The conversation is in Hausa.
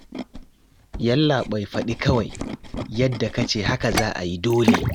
Yallaɓai faɗi kawai, yadda ka ce haka za a yi dole